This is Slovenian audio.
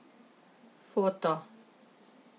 Foto.